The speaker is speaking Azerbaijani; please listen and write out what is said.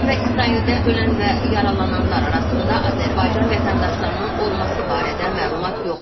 İran və İsraildə ölən və yaralananlar arasında Azərbaycan vətəndaşlarının olması barədə məlumat yoxdur.